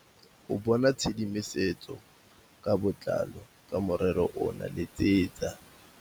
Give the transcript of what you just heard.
Go bona tshedimosetso ka botlalo ka morero ono letsetsa.